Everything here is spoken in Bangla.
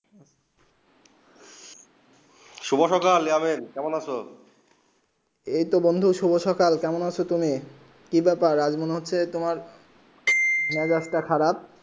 শুভ সকাল যমীন কোমেন আছো এই তো বন্ধু শুভ সকাল কেমন আছো তুমি কি ব্যাপার আজ মনে হচ্য়ে তোমার মিজাজ খারাব